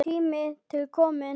Tími til kominn!